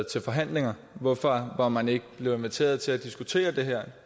til forhandlinger hvorfor var man ikke blevet inviteret til at diskutere det her